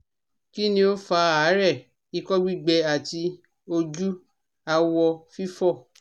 Kini o fa aare, iko gbigbe ati oju awo fifo?